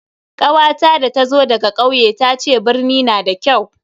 kawata da ta zo daga kauye tace birni na da kyau.